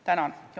Tänan!